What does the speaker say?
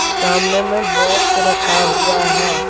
सामने में बॉक्स रखा हुआ है।